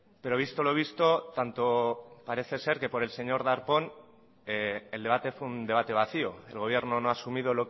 pero visto lo visto tanto parece ser que por el señor darpón el debate fue un debate vacío el gobierno no ha asumido